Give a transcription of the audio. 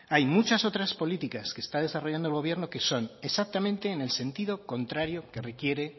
hay muchas otras políticas que está desarrollando el gobierno que son exactamente en el sentido contrario que requiere